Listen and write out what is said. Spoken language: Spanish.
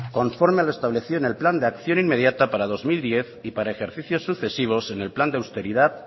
conforme a lo establecido en el plan de acción inmediata para dos mil diez y para ejercicios sucesivos en el plan de austeridad